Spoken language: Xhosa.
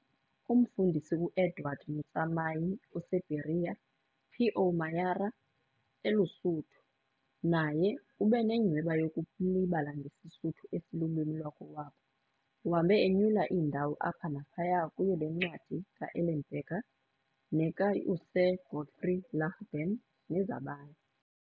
Umfundisi uEdward Motsamai oseBeria, P.O Mayara, eluSuthu, naye ube nenyhweba yokulibala ngesiSuthu esilulwimi lwakowabo. Uhambe enyula iindawo apha naphaya kuyo le ncwadi kaEllenberger, nekaUSir Godfrey Lagden, nezabanye.